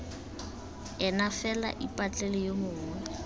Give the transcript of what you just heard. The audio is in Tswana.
ene fela ipatlele yo mongwe